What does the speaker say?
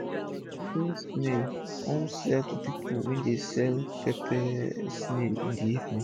i dey train snail kon sell am to pipu wey dey sell sell pepper snail in d evening